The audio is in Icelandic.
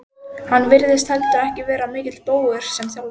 Hann virtist heldur ekki vera mikill bógur sem þjálfari.